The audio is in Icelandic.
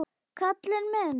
Kalli minn!